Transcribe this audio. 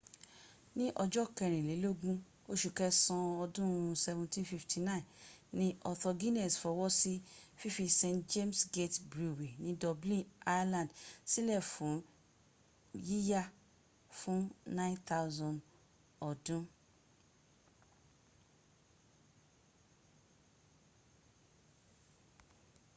ní ọjọ́ kẹrìnlélógún oṣù kẹsàn án ọdún 1759 ni arthur guinness fọwọ́ sí fífí st james' gate brewery ni dublin ireland sílẹ̀ fún yíya fún 9,000 ọdú